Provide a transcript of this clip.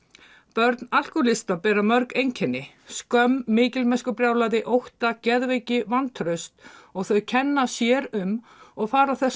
börn alkóhólista bera mörg einkenni skömm mikilmennskubrjálæði ótta geðveiki vantraust og þau kenna sér um og fara þess